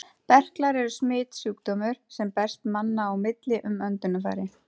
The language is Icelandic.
Berklar eru smitsjúkdómur, sem berst manna á milli um öndunarfæri.